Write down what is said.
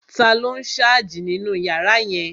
Taló n sáàjì nínu yàrá yẹn?